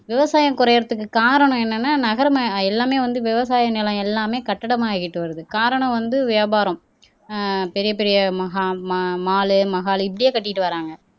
விவசாயம் குறையுறதுக்கு காரணம் என்னன்னா நகரமா எல்லாமே வந்து விவசாய நிலம் எல்லாமே கட்டிடமாகிட்டு வருது. காரணம் வந்து வியாபாரம் ஆஹ் பெரிய பெரிய மக ம மால் மஹால் இப்படியே கட்டிட்டு வராங்க